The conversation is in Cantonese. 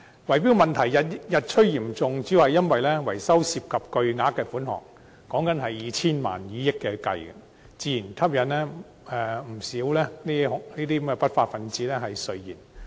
圍標問題日趨嚴重，主要是因為維修涉及巨額款項，動輒以千萬元，甚至以億元計算，自然吸引不少不法分子垂涎。